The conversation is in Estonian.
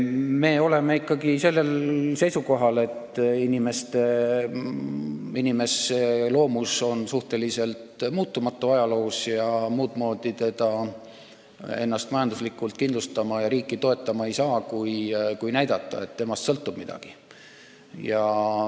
Me oleme ikkagi seisukohal, et inimese loomus on ajaloo jooksul suhteliselt muutumatu olnud ja muudmoodi teda ennast majanduslikult kindlustama ja riiki toetama ei saa, kui näidates, et temast sõltub midagi.